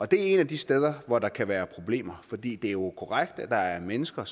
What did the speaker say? det er et af de steder hvor der kan være problemer for det er jo korrekt at der er mennesker